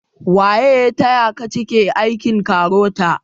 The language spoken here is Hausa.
Waye ya taya ta cike aikin KAROTA?